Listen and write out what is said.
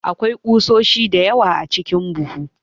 Akwai kusoshi da yawa a cikin buhun.